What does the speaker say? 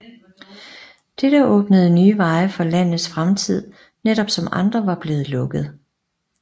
Dette åbnede nye veje for landets fremtid netop som andre var blevet lukket